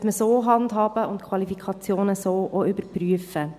Man sollte das so handhaben und die Qualifikationen auch so überprüfen.